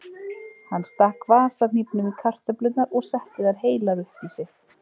Hann stakk vasahnífnum í kartöflurnar og setti þær heilar upp í sig.